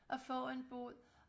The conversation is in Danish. og få en bod